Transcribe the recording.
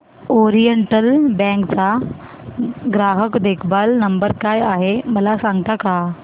oriental Bank चा ग्राहक देखभाल नंबर काय आहे मला सांगता का